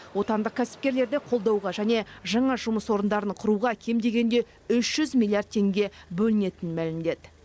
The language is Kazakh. отандық кәсіпкерлерді қолдауға және жаңа жұмыс орындарын құруға кем дегенде үш жүз миллиард теңге бөлінетінін мәлімдеді